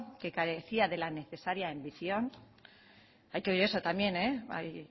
que carecía de la necesaria ambición hay que oír eso también hay